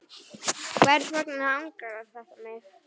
Hvers vegna angrar þetta mig?